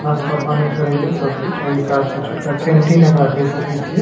नाश्ता पानी करे ले सब कुछ ओय हिसाब से छोटका कैंटीन एकरा कह सकय छीये।